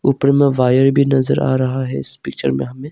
ऊपर मे वायर भी नजर आ रहा है इस पिक्चर में हमें--